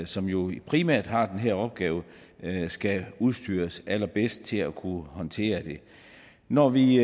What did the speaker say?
som jo primært har den her opgave skal udstyres allerbedst til at kunne håndtere det når vi